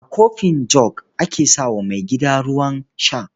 A kofin jug ake sa wa maigida ruwan sha.